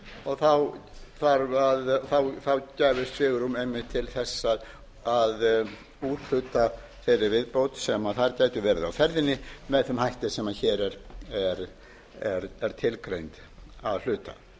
og þá gæfist svigrúm einnig til að úthluta þeirri viðbót sem þar gæti verið á ferðinni með þeim hætti sem hér er tilgreint að hluta